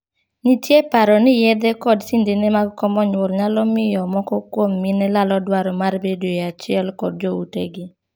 Nitie paro ni yedhe kod sindene mag komo nyuol nyalo miyo moko kuom mine lalo dwaro mar bedoe achiel kod jo utegi.